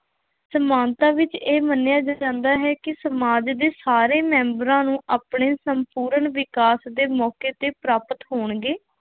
ਸਮਾਨਤਾ ਵਿੱਚ ਇਹ ਮੰਨਿਆ ਜਾਂਦਾ ਹੈ ਕਿ ਸਮਾਜ ਦੇ ਸਾਰੇ ਮੈਂਬਰਾਂ ਨੂੰ ਆਪਣੇ ਸੰਪੂਰਨ ਵਿਕਾਸ ਦੇ ਮੌਕੇ ਤੇ ਪ੍ਰਾਪਤ ਹੋਣਗੇ